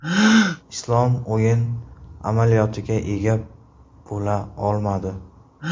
Islom o‘yin amaliyotiga ega bo‘la olmadi.